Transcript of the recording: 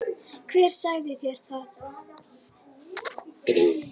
Hver sagði þér það?